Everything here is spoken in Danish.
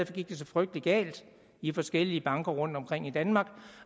gik det så frygtelig galt i forskellige banker rundtomkring i danmark